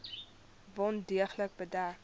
wond deeglik bedek